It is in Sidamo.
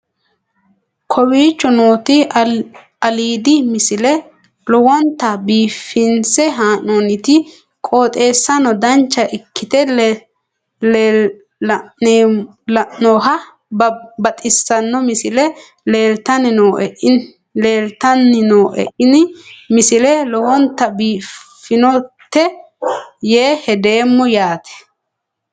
kowicho nooti aliidi misile lowonta biifinse haa'noonniti qooxeessano dancha ikkite la'annohano baxissanno misile leeltanni nooe ini misile lowonta biifffinnote yee hedeemmo yaate